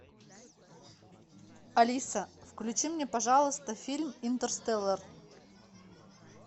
алиса включи мне пожалуйста фильм интерстеллар